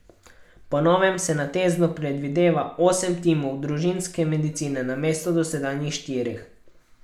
Po novem se na Teznu predvideva osem timov družinske medicine namesto dosedanjih štirih.